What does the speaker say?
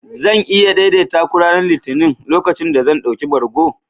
Zan iya daidaita ku ranar Litinin, lokacin da zan ɗauki bargo?